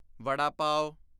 ਵਡਾ ਪਾਵ